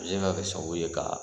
Nin na kɛ sabu ye ka